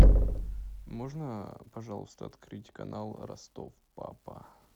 можно пожалуйста открыть канал ростов папа